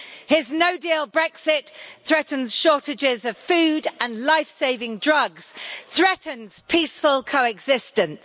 His no-deal Brexit threatens shortages of food and life-saving drugs, threatens peaceful coexistence.